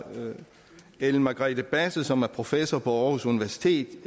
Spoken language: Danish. ellen margrethe basse som er professor på aarhus universitet